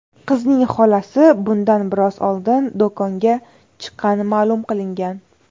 Qizning xolasi bundan biroz oldin do‘konga chiqqani ma’lum qilingan.